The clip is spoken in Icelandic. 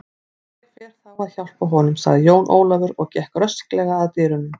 Ég fer þá að hjálpa honum, sagði Jón Ólafur og gekk rösklega að dyrunum.